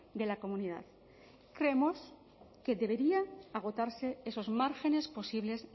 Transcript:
de la comunidad creemos que deberían agotarse esos márgenes posibles